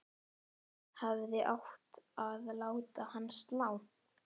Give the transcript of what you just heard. Hefði átt að láta hana slá.